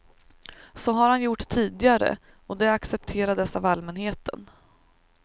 Så har han gjort tidigare och det accepterades av allmänheten.